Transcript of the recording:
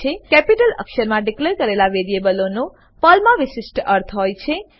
capital અક્ષરમાં declare કરેલા વેરીએબલોનો પર્લમા વિશિષ્ટ અર્થ હોય છે